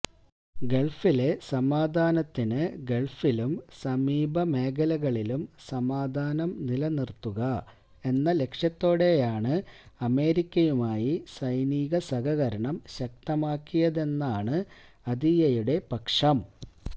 ഗള്ഫിലെ സമാധാനത്തിന് ഗള്ഫിലും സമീപ മേഖലകളിലും സമാധാനം നിലനിര്ത്തുക എന്ന ലക്ഷ്യത്തോടെയാണ് അമേരിക്കയുമായി സൈനിക സഹകരണം ശക്തമാക്കിയതെന്നാണ് അതിയ്യയുടെ പക്ഷം